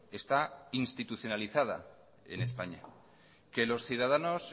está institucionalizada en españa que los ciudadanos